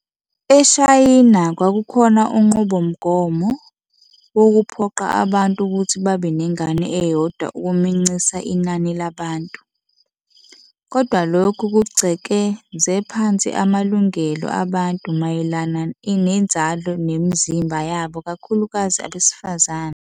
EShayina kwakukhona unqubomgomo woku phoqa abantu ukuthi babe nengane eyodwa ukumincisa inani labantu. Kodwa lokhu kugcekeze phansi amalungelo abantu mayelana inzalo nemizimba yabo kakhulukazi abesifazane.